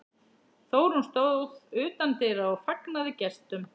Þórunn stóð utan dyra og fagnaði gestum.